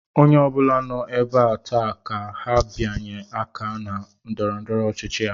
Onye obula nọ ébé a taa ka ha binye àkà na ndọrọdọrọ ọchịchị a